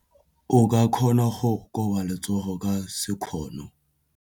O ka kgona go koba letsogo ka sekgono.